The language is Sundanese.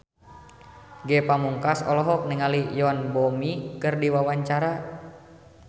Ge Pamungkas olohok ningali Yoon Bomi keur diwawancara